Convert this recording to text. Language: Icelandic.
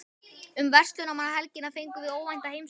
Um verslunarmannahelgina fengum við óvænta heimsókn.